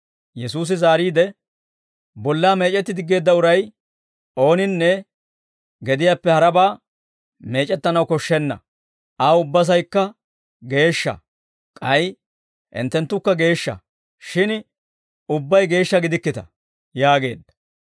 Yesuusi zaariide, «Bollaa meec'etti diggeedda uray ooninne gediyaappe harabaa meec'ettanaw koshshenna; aw ubbasaykka geeshsha. K'ay hinttenttukka geeshsha; shin ubbay geeshsha gidikkita» yaageedda.